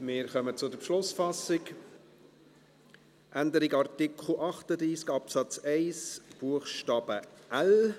Wir kommen zur Beschlussfassung, Änderung von Artikel 38 Absatz 1 Buchstabe l: